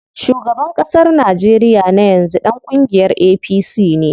Shugaban ƙasar Najeriya na yanzu ɗan kungiyar APC ne.